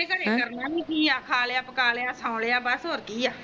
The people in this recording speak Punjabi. ਅਸੀਂ ਕਰਨਾ ਵੀ ਕਿ ਹੈ ਖਾ ਲਿਆ ਪੱਕਾ ਲਿਆ ਸੋਂ ਲਿਆ